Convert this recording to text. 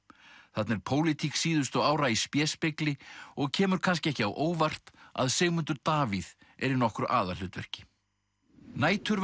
þarna er pólitík síðustu ára í og kemur kannski ekki á óvart að Sigmundur Davíð er í nokkru aðalhlutverki